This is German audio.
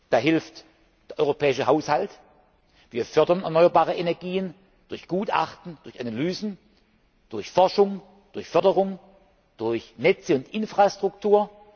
Da hilft der europäische Haushalt wir fördern erneuerbare Energien durch Gutachten und Analysen, durch Forschung, durch Förderung, durch Netze und Infrastruktur.